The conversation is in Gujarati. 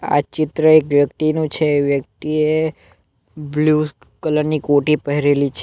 આ ચિત્ર એક વ્યક્તિનું છે વ્યક્તિએ બ્લુ કલર ની કોટી પહેરેલી છે.